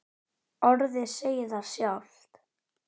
Orðið segir það sjálft.